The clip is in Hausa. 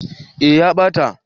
eh ya ɓata